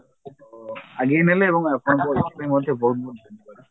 ଅ ଆଗେଇନେଲେ ଏବଂ ଆପଣଙ୍କୁ ଏଥିପାଇଁ ମଧ୍ୟ ସେ ବହୁତ ବହୁତ